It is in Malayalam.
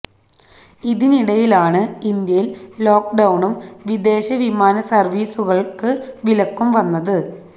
ഇതിനിടയിലാണ് ഇന്ത്യയിൽ ലോക്ഡൌണും വിദേശ വിമാന സർവിസുകൾക്ക് വിലക്കും വന്നത്